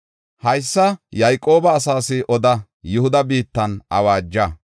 “Haysa Yayqooba asaas oda; Yihuda biittan awaaja.